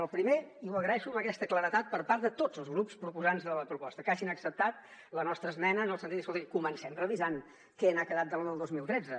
el primer i ho agraeixo amb aquesta claredat per part de tots els grups proposants de la proposta que hagin acceptat la nostra esmena en el sentit de dir escoltin comencem revisant què n’ha quedat de la del dos mil tretze